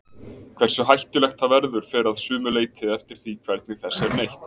Hversu hættulegt það verður fer að sumu leyti eftir því hvernig þess er neytt.